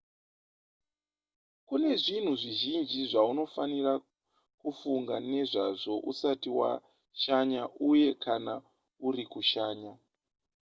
kune zvinhu zvizhinji zvaunofanira kufunga nezvazvo usati washanya uye kana uri kushanya